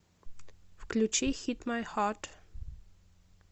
включи хит май хат